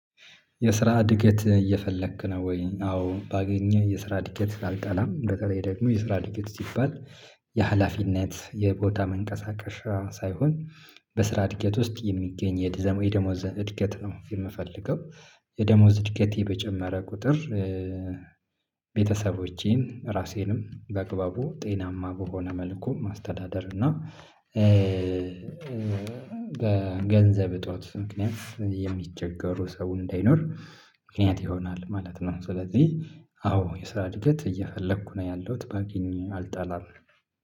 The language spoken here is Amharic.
የስራ እድገት እየፈለክ ነው ወይ? አዎ ባገኘህ የስራ እድገት አልጠላም በተለይ ደግሞ የስራ እድገት ሲባል የሀላፊነት የቦታ መንቀሳቀሻ ሳይሆን በስራ እድገት ውስጥ የሚገኝ የደሞዝ እድገት ነው። የምፈልገው የደሞዝ እድገቴ በጨመረ ቁጥር። ቤተሰቦቼን ራሴንም በአግባቡ ጤናማ በሆነ መልኩ ማስተዳደር እና ገንዘብ እጦት ምክንያት የሚቸገሩ ሰው እንዳይኖር ምክንያት ይሆናል ማለት ነው። ስለዚህ አዎ የስራ እድገት እየፈለኩ ነው ያለሁት ባገኝ አልጠላም